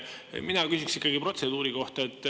Jah, mina küsiksin protseduuri kohta.